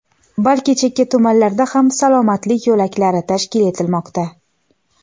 balki chekka tumanlarda ham "Salomatlik yo‘laklari" tashkil etilmoqda.